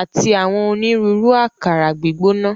àti àwọn onírúurú àkàrà gbígbóná.